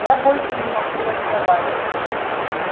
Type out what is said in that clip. я больше не могу разговаривать